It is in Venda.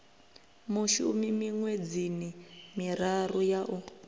mushumi miṅwedzini miraru ya u